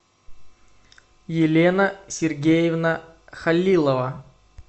елена сергеевна халилова